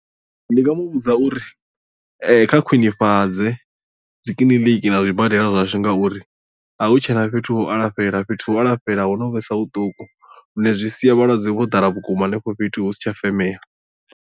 Ndi nga mu vhudza uri kha khwinifhadze dzi kiḽiniki na zwibadela zwashu ngauri a hu tshena fhethu ha u alafhela fhethu ha u alafhela ho no vhesa vhuṱuku lune zwi sia vhalwadze vho ḓala vhukuma henefho fhethu hu si tsha femea.